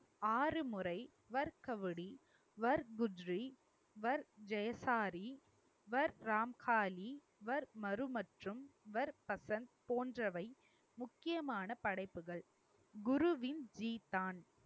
ஆறு முறை வர்கவடி, வர்க் குஜ்ரி, வர் ஜெயசாரி, வர் ராம்காளி, வர் மரு மற்றும் வர் பகந்த் போன்றவை முக்கியமான படைப்புகள். குருவின்